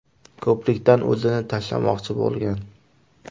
ko‘prikdan o‘zini tashlamoqchi bo‘lgan.